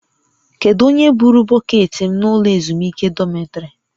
Kedu onye buuru bọkeetị m n'ụlọ ezumike dọmịtrị?